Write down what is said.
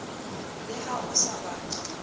le ha o sa ba